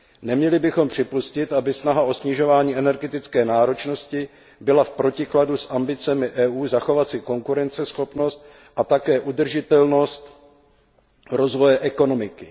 Neměli bychom připustit, aby snaha o snižování energetické náročnosti byla v protikladu s ambicemi EU zachovat si konkurenceschopnost a také udržitelnost rozvoje ekonomiky.